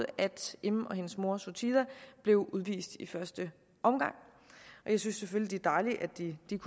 im og hendes mor suthida blev udvist i første omgang jeg synes selvfølgelig det er dejligt at de